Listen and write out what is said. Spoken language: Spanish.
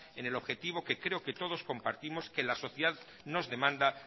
en el objetivo que creo que todos compartimos que la sociedad nos demanda